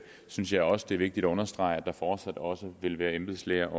synes jeg også det er vigtigt at understrege at der fortsat også vil være embedslæger